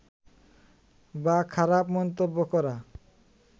বা খারাপ মন্তব্য করা